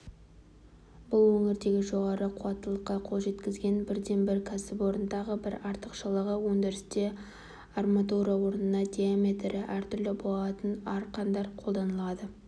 бұл өңірдегі жоғары қуаттылыққа қол жеткізген бірден-бір кәсіпорын тағы бір артықшылығы өндірісте арматура орнына диаметрі әртүрлі болат арқандар қолданылады